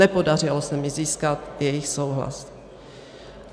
Nepodařilo se mi získat jejich souhlas.